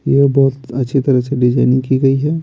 यह बहुत अच्छी तरह से डिजाइनिंग की गई है।